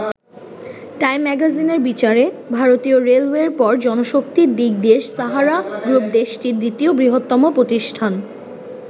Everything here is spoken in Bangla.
টাইম ম্যাগাজিনের বিচারে, ভারতীয় রেলওয়ের পর জনশক্তির দিক দিয়ে সাহারা গ্রুপ দেশটির দ্বিতীয় বৃহত্তম প্রতিষ্ঠান।